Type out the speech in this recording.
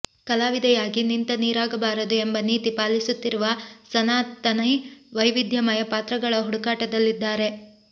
ಕಲಾವಿದೆಯಾಗಿ ನಿಂತ ನೀರಾಗಬಾರದು ಎಂಬ ನೀತಿ ಪಾಲಿಸುತ್ತಿರುವ ಸನಾತನಿ ವೈವಿಧ್ಯಮಯ ಪಾತ್ರಗಳ ಹುಡುಕಾಟದಲ್ಲಿದ್ದಾರೆ